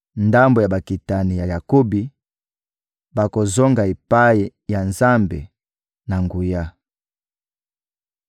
Ndambo ya bakitani ya Jakobi bakozonga epai ya Nzambe na nguya.